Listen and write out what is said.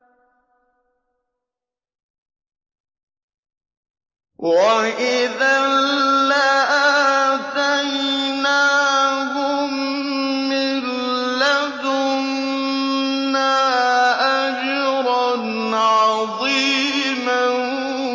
وَإِذًا لَّآتَيْنَاهُم مِّن لَّدُنَّا أَجْرًا عَظِيمًا